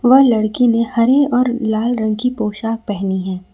वह लड़की ने हरे और लाल रंग की पोशाक पहनी है।